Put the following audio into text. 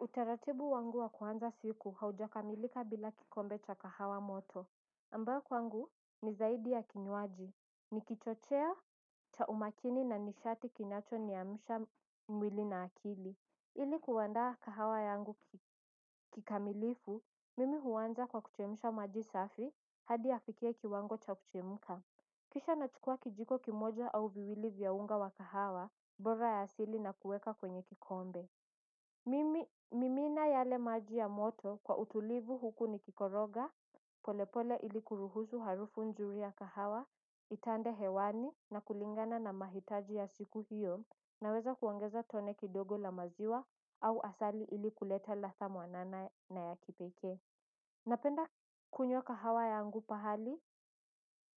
Utaratibu wangu wa kuanza siku haujakamilika bila kikombe cha kahawa moto ambao wangu ni zaidi ya kinywaji. Ni kichochea cha umakini na nishati kinacho niyamusha mwili na akili. Ili kuandaa kahawa yangu kikamilifu mimi huwanza kwa kuchemusha maji safi hadi yafike kiwango cha kuchemuka. Kisha nachukua kijiko kimoja au viwili vya unga wa kahawa bora ya asili na kuweka kwenye kikombe mimi. Mimina yale maji ya moto kwa utulivu huku ni kikoroga, polepole ilikuruhusu harufu nzuri ya kahawa, itande hewani na kulingana na mahitaji ya siku hiyo. Naweza kuongeza tone kidogo la maziwa au asali ilikuleta latha mwanana na ya kipekee. Napenda kunywa kahawa yangu pahali